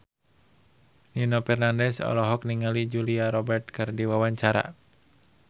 Nino Fernandez olohok ningali Julia Robert keur diwawancara